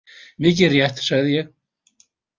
Mikið rétt, sagði ég.